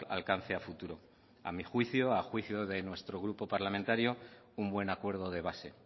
alcance a futuro a mi juicio a juicio de nuestro grupo parlamentario un buen acuerdo de base